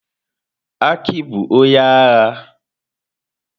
Aki bụ onye agha.